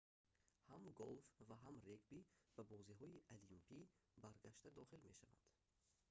ҳам голф ва ҳам регби ба бозиҳои олимпӣ баргашта дохил мешаванд